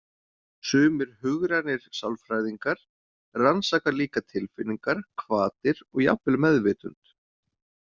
Sumir hugrænir sálfræðingar rannsaka líka tilfinningar, hvatir og jafnvel meðvitund.